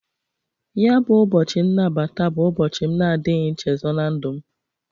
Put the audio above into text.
Ya bụ ụbọchị nnabata bụ ụbochị m na-adịghị nchezo na ndụ m.